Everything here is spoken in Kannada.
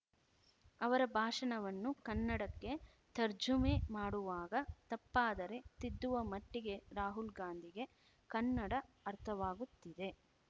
ಅವರ ಭಾಷಣವನ್ನು ಕನ್ನಡಕ್ಕೆ ತರ್ಜುಮೆ ಮಾಡುವಾಗ ತಪ್ಪಾದರೆ ತಿದ್ದುವ ಮಟ್ಟಿಗೆ ರಾಹುಲ್‌ ಗಾಂಧಿಗೆ ಕನ್ನಡ ಅರ್ಥವಾಗುತ್ತಿದೆ